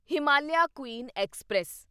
Himalayan queen express